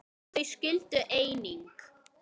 Þau skildu einnig.